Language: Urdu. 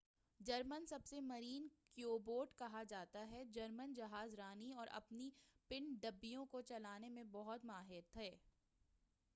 جرمن سب مرین کو یو بوٹ کہا جا تا تھا جرمن جہاز رانی اور اپنی پن ڈبیوں کو چلانے میں بہت ماہر تھے